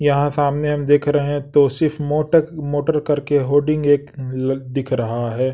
यहां सामने हम देख रहे हैं तोसीफ मोटक मोटर करके होर्डिंग एक दिख रहा है।